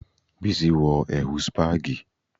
Bísí wọ ẹ̀wù spagi